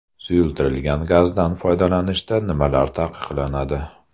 Suyultirilgan gazdan foydalanishda nimalar taqiqlanadi?